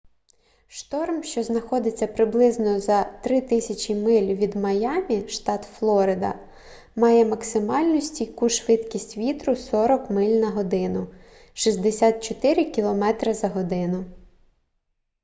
шторм що знаходиться приблизно за 3000 миль від майамі штат флорида має максимальну стійку швидкість вітру 40 миль на годину 64 км/год